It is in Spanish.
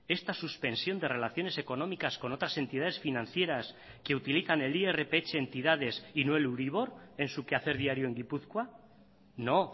esta suspensión de relaciones económicas con otras entidades financieras que utilizan el irph entidades y no el euribor en su quehacer diario en gipuzkoa no